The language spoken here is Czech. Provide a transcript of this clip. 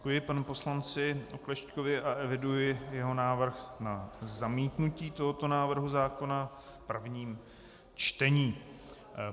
Děkuji panu poslanci Oklešťkovi a eviduji jeho návrh na zamítnutí tohoto návrhu zákona v prvním čtení.